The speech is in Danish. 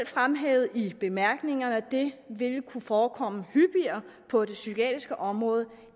fremhævet i bemærkningerne at det vil kunne forekomme hyppigere på det psykiatriske område